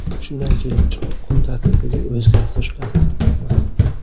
Shundan kelib chiqib, kun tartibiga o‘zgartirishlar kiritildi.